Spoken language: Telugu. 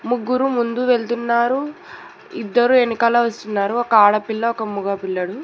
ముగ్గురు ముందు వెళ్తున్నారు ఇద్దరు ఎనకాల వస్తున్నారు ఒక ఆడపిల్ల ఒక మగ పిల్లడు